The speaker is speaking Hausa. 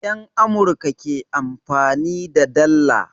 Yan Amurka ke amfani da dalla